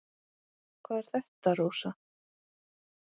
Hvað er þetta, Rósa?